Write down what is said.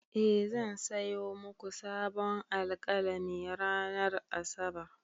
E, zan sayo muku sabon alƙalami ranar Asabar.